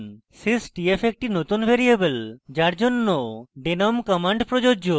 sys t f একটি নতুন variable যার জন্য denom command প্রযোজ্য